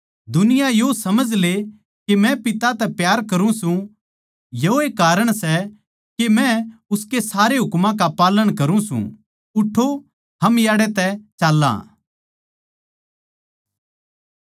दुनिया यो समझ ले के मै पिता तै प्यार करुँ सूं योए कारण सै के मै उसके सारे हुकमां का पालन करुँ सूं उठो हम याड़ै तै चाल्लां